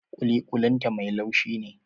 Kuli-kulin ta mai laushin ne.